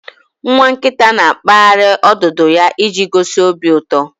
Nwa nkita na-akpaghari odudu ya iji gosi obi uto